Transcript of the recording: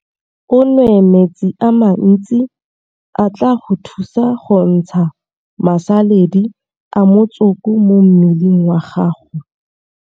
O nwe metsi a mantsi a tla go thusa go ntsha masaledi a motsoko mo mmeleng wa gago.